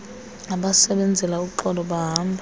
abasebenzela uxolo bahamba